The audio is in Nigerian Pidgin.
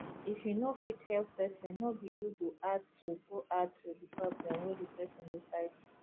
if you no fit help person no be you go add to go add to di problem wey di person dey fight